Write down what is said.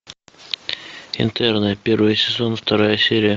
интерны первый сезон вторая серия